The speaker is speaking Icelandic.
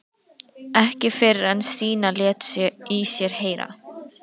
Ekki fyrr en Stína lét í sér heyra.